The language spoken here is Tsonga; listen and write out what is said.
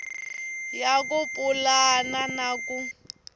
ya ku pulana na ku